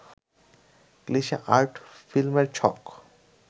cliche art ফিল্মের ছক